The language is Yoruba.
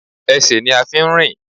Esè ni a n fi n rìn